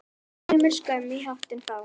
Sumir skömm í hattinn fá.